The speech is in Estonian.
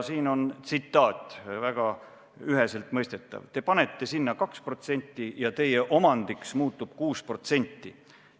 Siin on tsitaat, mis on väga üheselt mõistetav: "Te panete sinna 2% ja teie omandiks muutub 6%.